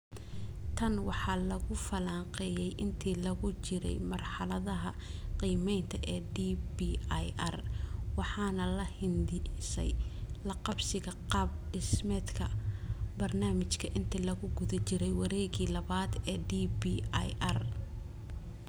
Tan waxaa lagu falanqeeyay intii lagu jiray marxaladda qiimaynta ee DBIR waxaana la hindisay laqabsiga qaab dhismeedka barnaamijka inta lagu guda jiro wareegga labaad ee DBIR.